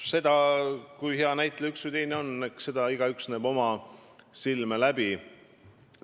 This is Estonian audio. Seda, kui hea näitleja üks või teine on, näeb igaüks oma silme läbi.